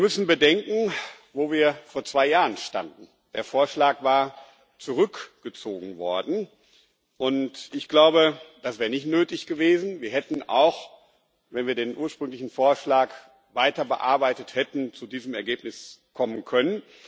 Wir müssen bedenken, wo wir vor zwei Jahren standen Der Vorschlag war zurückgezogen worden, und, ich glaube, das wäre nicht nötig gewesen. Wir hätten auch, wenn wir den ursprünglichen Vorschlag weiter bearbeitet hätten, zu diesem Ergebnis kommen können.